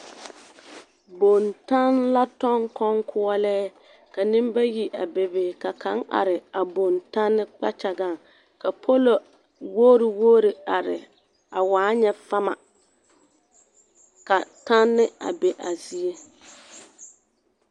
Bontanne la tɔŋ kɔŋkoɔlɛɛ ka nembayi a bebe ka kaŋ are a bontanne kpakyagaŋ ka polo-wogiri-wogiri are a waa nyɛ fama ka tanne a be a zie.